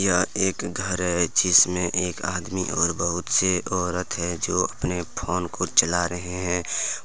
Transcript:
अ एक घर है जिसमें एक आदमी और बहुत से औरत हैंजो अपने फोन को चला रहे हैं।